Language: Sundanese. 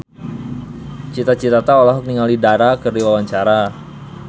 Cita Citata olohok ningali Dara keur diwawancara